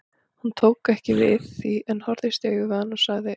Hún tók ekki við því en horfðist í augu við hann og sagði